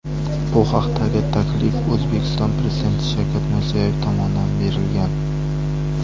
Bu haqdagi taklif O‘zbekiston Prezidenti Shavkat Mirziyoyev tomonidan berilgan.